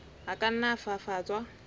a ka nna a fafatswa